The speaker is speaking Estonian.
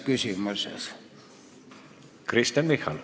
Kristen Michal.